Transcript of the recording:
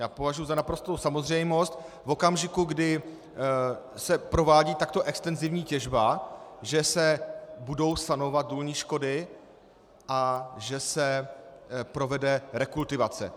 Já považuji za naprostou samozřejmost v okamžiku, kdy se provádí takto extenzivní těžba, že se budou sanovat důlní škody a že se provede rekultivace.